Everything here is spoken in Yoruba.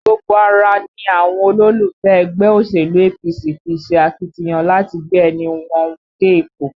Gbogbo ara ni àwọn olólùfẹ́ ẹgbẹ́ òṣèlú APC fi ṣe akitiyan láti gbé ẹnì wọn dé ipò